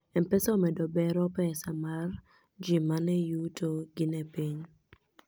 mpesa omedo bero pesa mar ji mane yuto gi ne piny